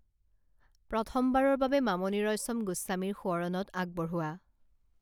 প্ৰথমবাৰৰ বাবে মামণি ৰয়ছম গোস্বামীৰ সোঁৱৰণত আগবঢ়োৱা